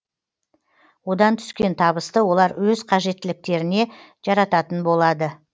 одан түскен табысты олар өз қажеттіліктеріне жарататын болады